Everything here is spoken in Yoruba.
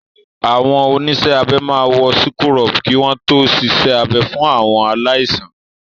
Àwọn oníṣẹ́ abẹ máa wọ síkúrọ̀bù kí wọ́n to ṣiṣẹ́ abẹ fún àwọn aláìsàn.